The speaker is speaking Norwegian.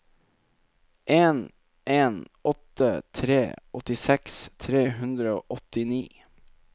en en åtte tre åttiseks tre hundre og åttini